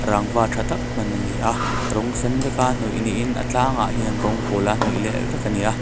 rangva tha tak hman ani a rawng sen vek a hnawih niin a tlangah hian rawng pawl a hnawih leh vek ani a.